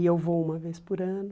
E eu vou uma vez por ano.